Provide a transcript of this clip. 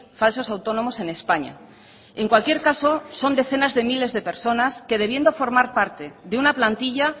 falsos autónomos en españa en cualquier caso son decenas de miles de personas que debiendo formar parte de una plantilla